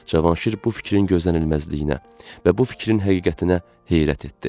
Cavanşir bu fikrin gözlənilməzliyinə və bu fikrin həqiqətinə heyrət etdi.